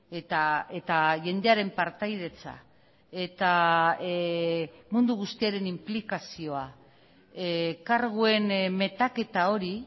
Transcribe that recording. eta jendearen partaidetza eta mundu guztiaren inplikazioa karguen metaketa hori